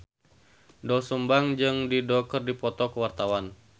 Doel Sumbang jeung Dido keur dipoto ku wartawan